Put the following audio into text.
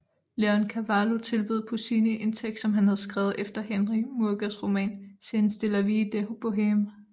Leoncavallo tilbød Puccini en tekst som han havde skrevet efter Henri Murgers roman Scènes de la Vie de Bohème